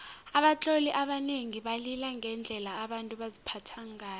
abatloli abanengi balila ngendlela abantu baziphatha ngayo